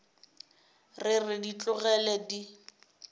re re di tlogele di